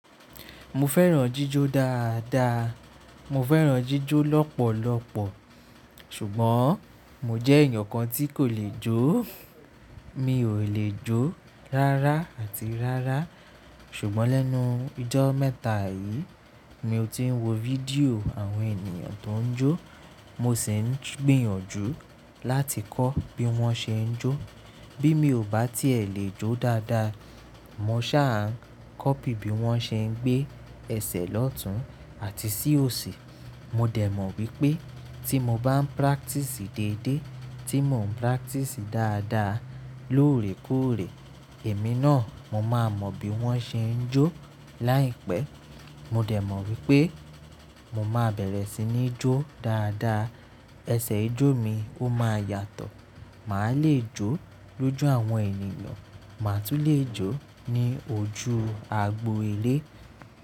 Mo fẹ́ràn jíjó dáadáa. Mo fẹ́ràn jíjó lọ́pọ̀lọpọ̀ ṣùgbọ́n mo jẹ́ ènìyàn kan tí kò lè jó. Mi ò lè jó rárá àti rárá. Ṣùgbọ́n lẹ́nu ijọ́ mẹ́ta yìí ni mo ti ń wo fídíò àwọn ènìyàn tó ń jó. Mo sì ń gbìyànjú láti kọ́ bí wọ́n ṣe ń jó. Bí mi ò bá ti lè jó dáadáa, mo ṣà ń kọ́ pí bí wọ́n ṣe ń gbé ẹsẹ̀ lọ́tun àti sí òsì. Mo dẹ̀ mọ̀ wípé tí mo bá ń practice déédé, tí mò ń practice dáadáa lóòrèkóòrè, èmi náà mo máa mọ̀ bí wọ́n ṣe ń jó. Láìpẹ́, mo dẹ̀ mọ̀ wípé mo máa bẹ̀rẹ̀ sí ní jó dáadáa. Ẹsẹ̀ ijó mi ó máa yàtọ̀. Màá lè jó lójú àwọn ènìyàn. Màá tún lè jó ní ojú agbo ilé.